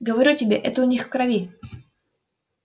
говорю тебе это у них в крови